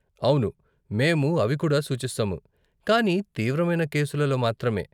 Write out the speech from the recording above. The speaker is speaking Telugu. అవును మేము అవి కూడా సూచిస్తాము, కానీ తీవ్రమైన కేసులలో మాత్రమే.